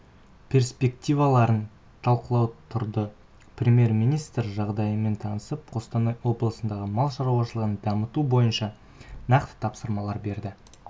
перспективаларын талқылау тұрды премьер-министрі жағдаймен танысып қостанай облысындағы мал шаруашылығын дамыту бойынша нақты тапсырмалар берді